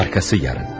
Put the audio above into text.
Arxası sabah.